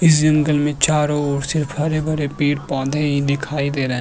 इस जंगल में चारो ओर सिर्फ हरे भरे पेड़ पौधे ही दिखाई दे रहे --